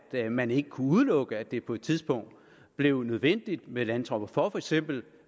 at man ikke kunne udelukke at det på et tidspunkt blev nødvendigt med landtropper for for eksempel